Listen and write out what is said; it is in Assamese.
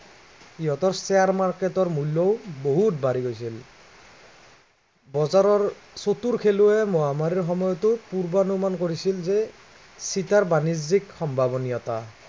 ইহঁতৰ share ৰ market ৰ মূল্য়ও বহুত বাঢ়ি গৈছিল বজাৰৰ চতুৰ খেলুৱৈয়ে মহামাৰীৰ সময়তে পূৰ্বানুমান কৰিছিল যে, চিটাৰ বাণিজ্য়িক সম্ভাৱনীয়তা